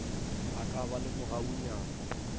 a ka ba le mogaunyana